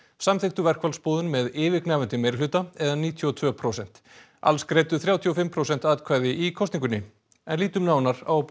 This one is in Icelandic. samþykktu verkfallsboðun með yfirgnæfandi meirihluta eða níutíu og tvö prósent alls greiddu þrjátíu og fimm prósent atkvæði í kosningunni en lítum nánar á